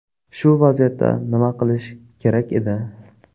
Shu vaziyatda nima qilish kerak edi?